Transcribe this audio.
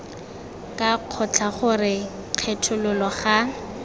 ga kgotla gore kgethololo ga